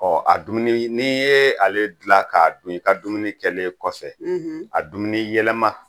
Ɔ a dunni n'i ye ale dilan k'a dun i ka dumuni kɛlen kɔfɛ a dumuniyɛlɛma